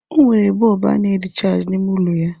O nwere bọlbụ a na rịchaajị n'ime ụlọ ya.